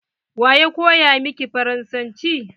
Waya koya miki faransanci?